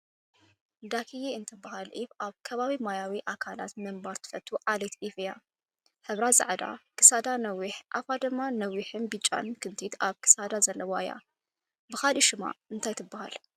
ዳኪዬ እትባሃል ዒፍ ኣብ ከባቢ ማያዊ ኣካል ምንባር ትፈቱ ዓሌት ኣዕዋፍ እያ፡፡ ሕብራ ፃሕዳ፣ ክሳዳ ነዊሕንኣፋ ድማ ነዊሕን ብጫ ክንቲት ኣብ ክሳዳ ዘለዋ እያ፡፡ ብኻሊእ ሽማ እንታይ ትባሃል?